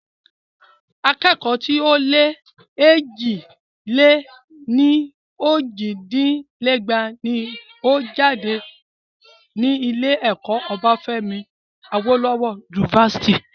Akẹ́kọ̀ọ́ tí o lẹ́ ní éjì-lé-ní-ojì dín ní ẹgbàá ní ó jáde ní ilé ẹ̀kọ́ Obafemi Awolowo University.